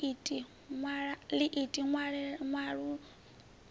ḽiiti ṅwalaḽo ṱuṅwa mitshila yo